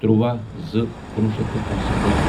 تُرٛواہ زٕ کُنوُہ شیٚتھ تہٕ کُنسَتتھ